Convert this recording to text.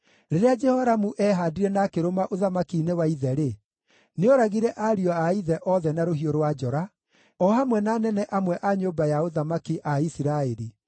Rĩrĩa Jehoramu eehaandire na akĩrũma ũthamaki-inĩ wa ithe-rĩ, nĩooragire ariũ a ithe othe na rũhiũ rwa njora, o hamwe na anene amwe a nyũmba ya ũthamaki a Isiraeli.